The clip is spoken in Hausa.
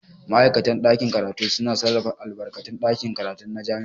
Ma'aikatan ɗakin karatu suna sarrafa albarkatun ɗakin karatu na jami'a.